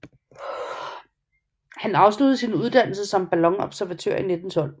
Han afsluttede sin uddannelse som ballonobservatør i 1912